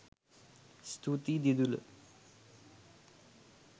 ස්තුතියි දිදුල